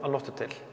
um nótt